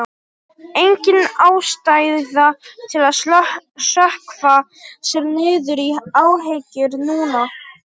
Engin ástæða til að sökkva sér niður í áhyggjur núna.